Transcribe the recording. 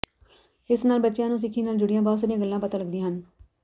ਇਸ ਨਾਲ ਬੱਚਿਆਂ ਨੂੰ ਸਿੱਖੀ ਨਾਲ ਜੁੜੀਆਂ ਬਹੁਤ ਸਾਰੀਆਂ ਗੱਲਾਂ ਪਤਾ ਲੱਗਦੀਆਂ ਹਨ